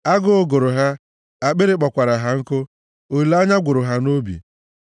Agụụ gụrụ ha, akpịrị kpọkwara ha nkụ, olileanya gwụrụ ha nʼobi.